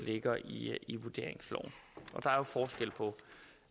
ligger i vurderingsloven og